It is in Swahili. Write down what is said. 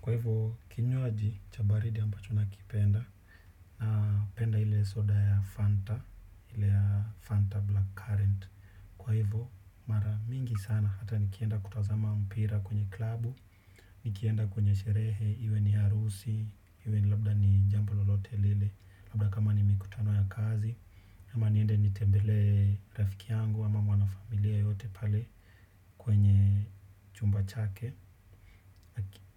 Kwa hivyo kinywaji cha baridi ambacho nakipenda napenda ile soda ya Fanta ile ya Fanta Black Current. Kwa hivyo mara mingi sana hata nikienda kutazama mpira kwenye klabu. Nikienda kwenye sherehe. Iwe ni harusi. Iwe labda ni jambo lolote lile. Labda kama ni mikutano ya kazi ama niende nitembelee rafiki yangu. Ama mwanafamilia yeyote pale. Kwenye chumba chake